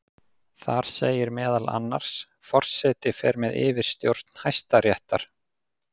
Þar segir meðal annars: Forseti fer með yfirstjórn Hæstaréttar.